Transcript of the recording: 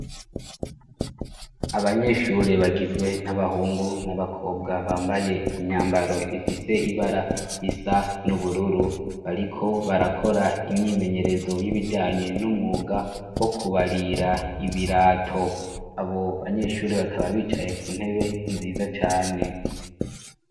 abanyeshure bagizwe n'abahungu n'abakobwa bambaye imyambaro ifise ibara risa n'ubururu ariko barakora imyimenyerezo y'ibijanye n'umwuga wo kubarira ibirato abo banyeshure bakaba bicaye ku ntebe nziza cane